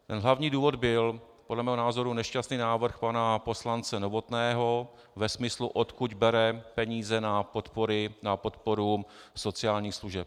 Hlavní důvod byl podle mého názoru nešťastný návrh pana poslance Novotného ve smyslu, odkud bere peníze na podporu sociálních služeb.